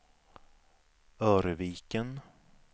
Örviken